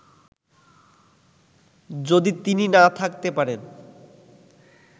যদি তিনি না থাকতে পারেন